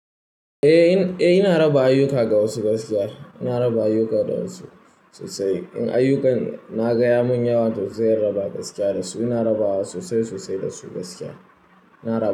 Eh, ina raba ayyuka ga wasu gaskiya. Ina raba ayyuka da wasu sosai. In ayyukan, na ga ya mun yawa to sai in raba gaskiya da su. Ina rabawa sosai sosai da su gaskiya. Ina raba.